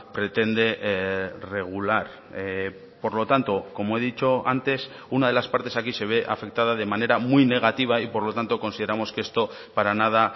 pretende regular por lo tanto como he dicho antes una de las partes aquí se ve afectada de manera muy negativa y por lo tanto consideramos que esto para nada